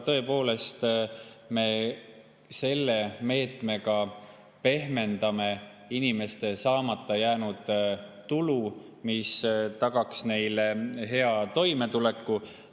Selle meetmega me pehmendame inimeste saamata jäänud tulu tõttu, mis oleks taganud neile hea toimetuleku.